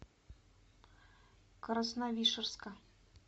красновишерска